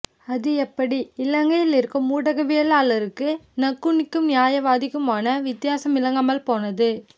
அது எப்படி இலங்கையிலிருக்கும் ஊடகவியலாளர்களுக்கு நக்குண்ணிக்கும் நியாவாதிக்குமான வித்தியாசம் விளங்காமல் போனது